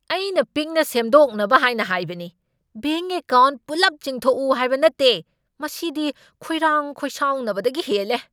ꯑꯩꯅ ꯄꯤꯛꯅ ꯁꯦꯝꯗꯣꯛꯅꯕ ꯍꯥꯏꯅ ꯍꯥꯏꯕꯅꯤ, ꯕꯦꯡꯛ ꯑꯦꯀꯥꯎꯟꯠ ꯄꯨꯜꯂꯞ ꯆꯤꯡꯊꯣꯛꯎ ꯍꯥꯏꯕ ꯅꯠꯇꯦ! ꯃꯁꯤꯗꯤ ꯈꯣꯏꯔꯥꯡ ꯈꯣꯏꯁꯥꯎꯅꯕꯗꯒꯤ ꯍꯦꯜꯂꯦ꯫